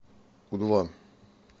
у два